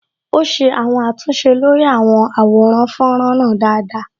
Ó ṣe àwọn àtúnṣe lórí àwọn àwòrán fọ́nrán náà dáadáa